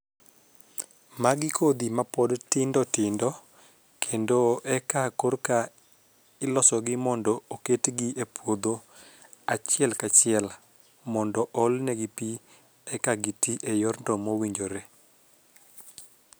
Magi kodhi mapod tindotindo kendo eka korka iloso gi mondo oket gi e puodho achiel kachiel mondo ol ne gi pii eka giti e yorno mowinjore.